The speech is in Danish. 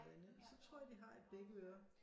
Andet så tror jeg de har i begge ører